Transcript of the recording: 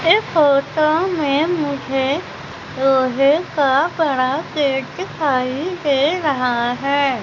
इस फोटो में मुझे लोहे का बड़ा बेड दिखाई दे रहा है।